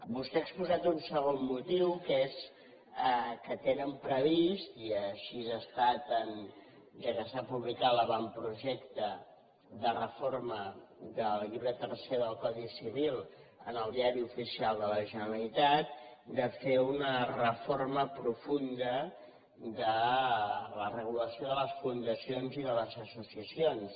vostè ha exposat un segon motiu que és que tenen previst i així ha estat ja que s’ha publicat l’avantprojecte de reforma del llibre tercer del codi civil en el diari oficial de la generalitat de fer una reforma profunda de la regulació de les fundacions i de les associacions